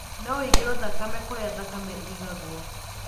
No ũigĩrwo thakame kũrĩa thakame igagwo.